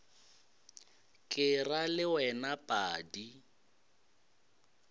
ke ra le wena padi